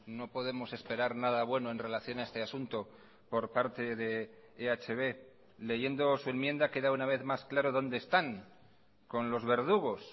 no podemos esperar nada bueno en relación a este asunto por parte de ehb leyendo su enmienda queda una vez más claro donde están con los verdugos